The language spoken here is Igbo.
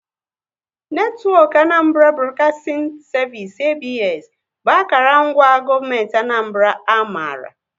Netwọk Anambra Broadcasting Service (ABS) bụ akara ngwa gọọmenti Anambra a maara